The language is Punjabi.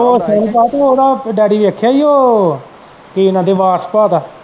ਉਹ ਸੋਨੂ ਭਾ ਓਹਦਾ ਡੈਡੀ ਵੇਖਿਆ ਈ ਉਹ ਕੀ ਕਹਿੰਦੇ